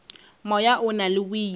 moya o na le boima